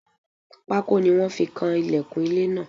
Pákó ni wọ́n fi kan ìlẹ̀kùn ilé náà.